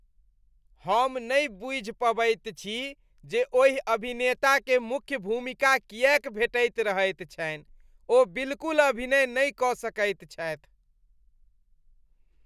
हम नहि बुझि पबैत छी जे ओहि अभिनेताकेँ मुख्य भूमिका किएक भेटैत रहैत छनि । ओ बिलकुल अभिनय नहि कऽ सकैत छथि।